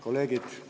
Kolleegid!